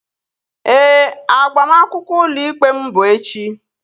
Ee, agbamakwụkwọ ụlọ ikpe m bụ echi